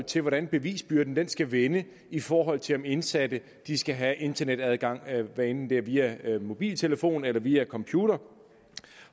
til hvordan bevisbyrden skal vende i forhold til om indsatte skal have internetadgang hvad enten det er via mobiltelefon eller via computer